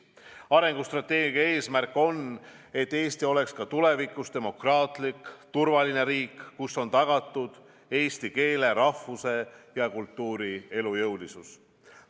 Arengustrateegia eesmärk on, et Eesti oleks ka tulevikus demokraatlik turvaline riik, kus on tagatud eesti keele, rahvuse ja kultuuri elujõulisus.